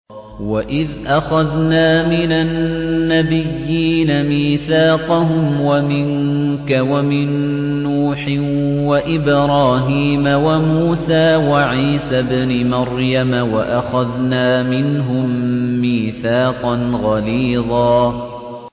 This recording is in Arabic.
وَإِذْ أَخَذْنَا مِنَ النَّبِيِّينَ مِيثَاقَهُمْ وَمِنكَ وَمِن نُّوحٍ وَإِبْرَاهِيمَ وَمُوسَىٰ وَعِيسَى ابْنِ مَرْيَمَ ۖ وَأَخَذْنَا مِنْهُم مِّيثَاقًا غَلِيظًا